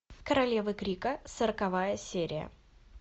королевы крика сороковая серия